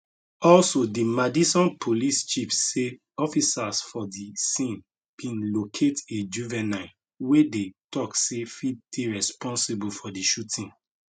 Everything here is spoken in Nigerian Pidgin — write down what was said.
also di madison police chief say officers for di scene bin locate a juvenile wey dem tok say fit dey responsible for di shooting